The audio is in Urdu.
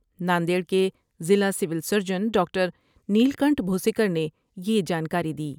ناندیڑ کے ضلع civil surgeon doctor Neelkanth Bhosikar نے یہ جانکاری دی ۔